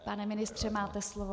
Pane ministře, máte slovo.